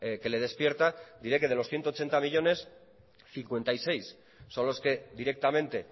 que le despierta diría que de los ciento ochenta millónes cincuenta y seis son los que directamente